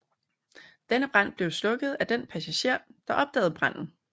Denne brand blev slukket af den passager der opdagede branden